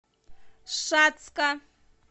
шацка